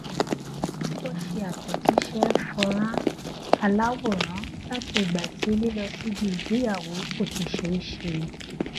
ó ṣe àtẹjíṣẹ fọnrán aláwòrán láti ìgbà tí lílọ síbi ìgbéyàwó kò ti ṣe é ṣe